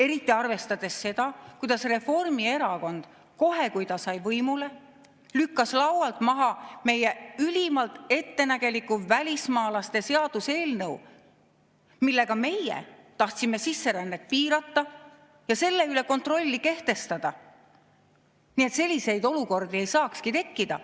Eriti arvestades seda, kuidas Reformierakond kohe, kui ta sai võimule, lükkas laualt maha meie ülimalt ettenägeliku välismaalaste seaduse eelnõu, millega meie tahtsime sisserännet piirata ja selle üle kontrolli kehtestada, nii et selliseid olukordi ei saakski tekkida.